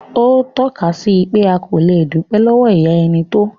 Ó tọ́ka sí pé a kò le dúpẹ́ lọ́wọ́ ìyá ẹni tó.